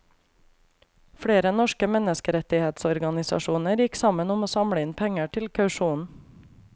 Flere norske menneskerettighetsorganisasjoner gikk sammen om å samle inn penger til kausjonen.